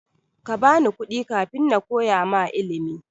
Kabani kuɗi kafin nakoya ma ilimi.